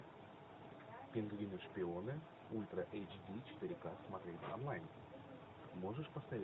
пингвины шпионы ультра эйч ди четыре ка смотреть онлайн можешь поставить